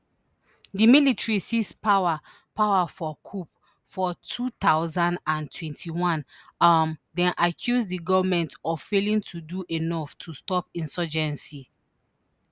di military seize power power for coup for two thousand and twenty-one um dem accuse di goment of failing to do enough to stop insurgency